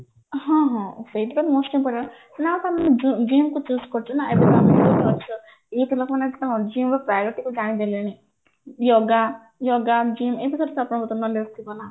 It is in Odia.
ହଁ ହଁ ସେଇଟା ତ most important ଏବେ ତ ଲୋକମାନେ କଣ -priority କାହିଁ ଦେଲେନି yoga yoga gym